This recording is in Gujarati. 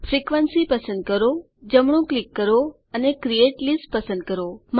ફ્રિકવન્સી પસંદ કરો જમણું ક્લિક કરો અને ક્રિએટ લિસ્ટ પસંદ કરો